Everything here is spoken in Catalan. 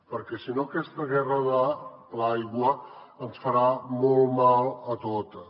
perquè si no aquesta guerra de l’aigua ens farà molt mal a totes